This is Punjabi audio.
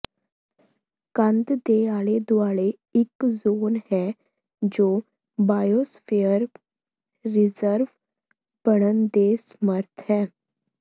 ਕੰਧ ਦੇ ਆਲੇ ਦੁਆਲੇ ਇਕ ਜ਼ੋਨ ਹੈ ਜੋ ਬਾਇਓਸਰਫੀਅਰ ਰਿਜ਼ਰਵ ਬਣਨ ਦੇ ਸਮਰੱਥ ਹੈ